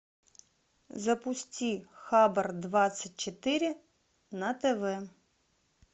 запусти хабр двадцать четыре на тв